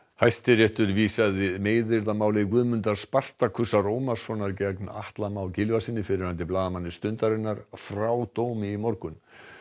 Hæstiréttur vísaði meiðyrðamáli Guðmundar Spartakusar Ómarssonar gegn Atla Má Gylfasyni fyrrverandi blaðamanni Stundarinnar frá dómi í morgun